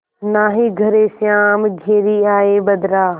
नाहीं घरे श्याम घेरि आये बदरा